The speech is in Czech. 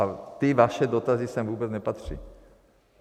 A ty vaše dotazy sem vůbec nepatří.